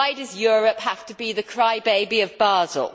Why does Europe have to be the cry baby of Basel?